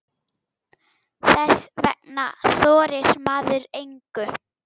Þess vegna þorir maður engu.